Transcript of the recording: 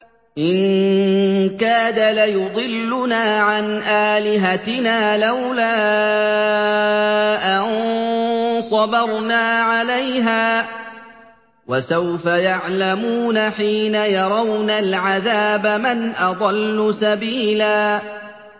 إِن كَادَ لَيُضِلُّنَا عَنْ آلِهَتِنَا لَوْلَا أَن صَبَرْنَا عَلَيْهَا ۚ وَسَوْفَ يَعْلَمُونَ حِينَ يَرَوْنَ الْعَذَابَ مَنْ أَضَلُّ سَبِيلًا